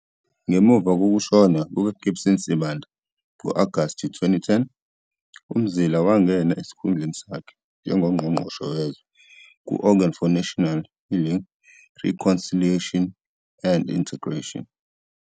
Ngemuva kokushona kukaGibson Sibanda ngo-Agasti 2010, uMzila wangena esikhundleni sakhe njengoNgqongqoshe Wezwe ku-Organ for National, Healing, Reconciliation and Integration.